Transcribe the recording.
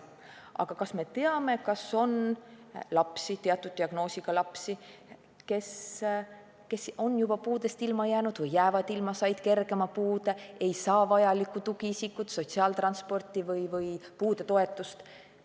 Aga kas me teame, kas on ka selliseid lapsi – teatud diagnoosiga lapsi –, kes on varem puudeastmest ilma jäänud või jäävad ilma, said kergema puude, ei saa vajalikku tugiisikut, sotsiaaltransporti või puudetoetust?